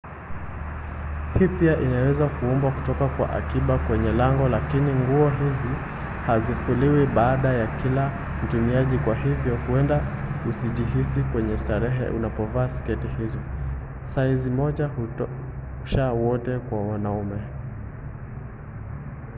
hii pia inaweza kuombwa kutoka kwa akiba kwenye lango lakini nguo hizo hazifuliwi baada ya kila mtumiaji kwa hivyo huenda usijihisi mwenye starehe unapovaa sketi hizo. saizi moja hutosha wote kwa wanaume!